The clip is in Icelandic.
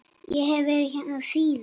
Ég hef verið hérna síðan.